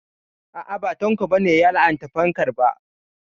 A'a ba Tanko ba ne ya la'anta fankar ba